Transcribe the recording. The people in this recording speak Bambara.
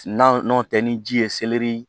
N'a n'o tɛ ni ji ye seleri